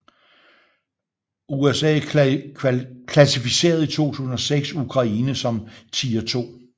USA klassificerede i 2006 Ukraine som Tier 2